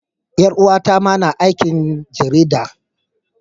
Yar uwata ma tana aikin jarida.